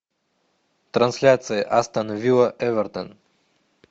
трансляция астон вилла эвертон